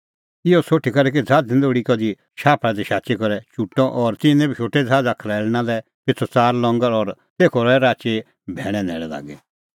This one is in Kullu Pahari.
इहअ सोठी करै कि ज़हाज़ निं लोल़ी कधि शाफल़ा दी शाची करै चुटअ और तिन्नैं बी शोटै ज़हाज़ा खरैल़णां लै पिछ़लै च़ार लंगर और तेखअ रहै राची भैणै न्हैल़ै लागी